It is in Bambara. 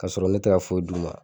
Ka sɔrɔ ne tɛ ka foyi d'u ma.